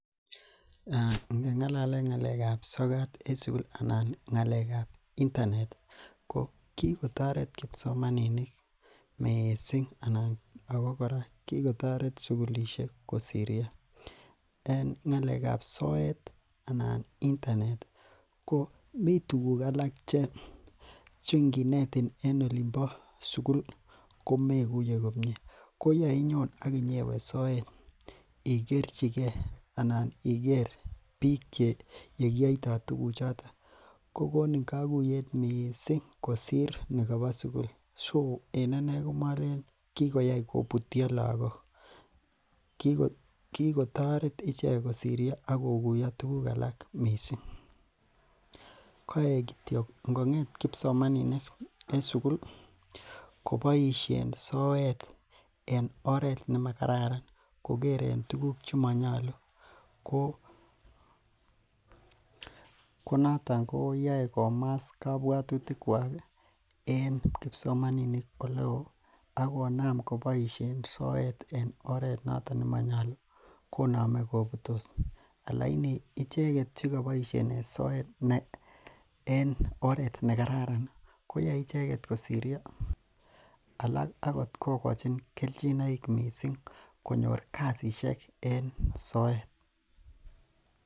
Ngengalalen ngalekab sokat en ngalekab sukul anan ngalekab internet ko kikotoret kipsomaninik mising anan ak ko kora kikotoret sukulishek kosirio en ngalekab soet anan internet anan ko mii tukuk alak chenginetin en olimbo sukul komekuye komie, ko yeinyon ak inyewe soet ikercheke anan iker biik che yekiyoito tukuchoton, ko konin kokuyet mising kosir nikobo sukul, so en anee komolelen kikoyai kobutyo lokok, kikotoret ichek kosirio ak kokuyo tukuk alak mising, koik kityo ingonget kipsomaninik en sukul koboishen soet en oreet nemakararan kokeren tukuk chemonyolu konoton koyoe komas kobwotutikwak en kipsomaninik eleo ak ko konam koboishen soet en oreet noton nemonyolu konome kobutos, lakini icheket chekoboishen soet en oreet nekaran koyoe icheket kosirio alak kokochin okot kelchinoik mising konyor kaishek en soet.